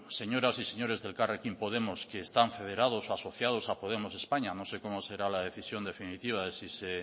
señoras y señores de elkarrekin podemos que están federados o asociados a podemos españa no sé cómo será la decisión definitiva de si se